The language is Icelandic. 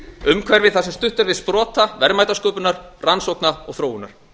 umhverfi þar sem stutt er við sprota verðmætasköpunar rannsókna og þróunar